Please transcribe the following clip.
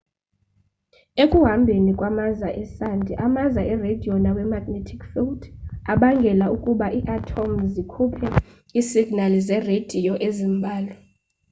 ekuhambeni kwamaza esandi amaza ereyidiyo nawe-magnetic field abangela ukuba ii-athomu zikhuphe iisignali zereyidiyo ezimbalwa